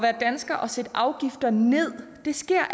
at sætte afgifter ned sker